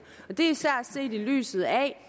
det er især set i lyset af